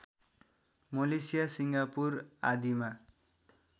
Malaysia Singapore आदिमा